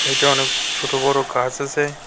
এটা অনেক ছোটো বড় গাছ আছে।